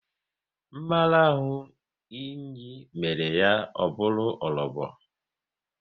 Mmarahu nri mere ya o bụru orobo